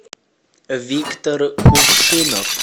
виктор кувшинов